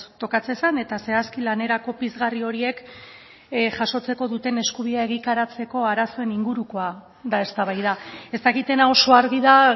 tokatzen zen eta zehazki lanerako pizgarri horiek jasotzeko duten eskubidea egikaritzeko arazoen ingurukoa da eztabaida ez dakitena oso argi da